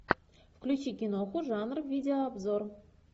включи киноху жанр видеообзор